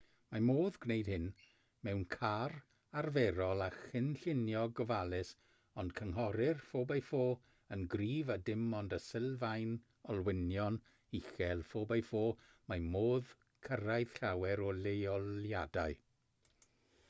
mae modd gwneud hyn mewn car arferol â chynllunio gofalus ond cynghorir 4x4 yn gryf a dim ond â sylfaen olwynion uchel 4x4 mae modd cyrraedd llawer o leoliadau